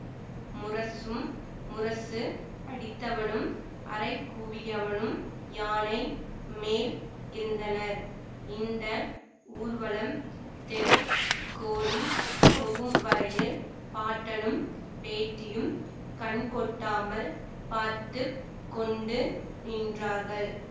முரசும் முரசு அடித்தவனும் அறைகூவியவனும் யானை மேல் இருந்தனர் இந்த ஊர்வலம் தெருக் கோடி போகும்வரையில் பாட்டனும் பேத்தியும் கண்கொட்டாமல் பார்த்து கொண்டு நின்றார்கள்